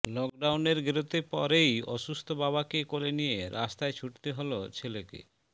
লকডাউনের গেরোতে পরেই অসুস্থ বাবাকে কোলে নিয়ে রাস্তায় ছুটতে হল ছেলেকে